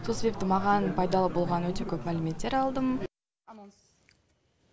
сол себепті маған пайдалы болған өте көп мәліметтер алдым